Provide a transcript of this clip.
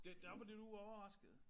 Det der var du overrasket